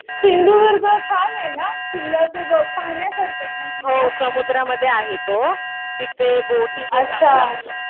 सिंधुदुर्ग छान आहे ना. किल्ला तो पाहण्यासारखा आहे ना किल्ला. अच्छा.